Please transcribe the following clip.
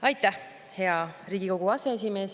Aitäh, hea Riigikogu aseesimees!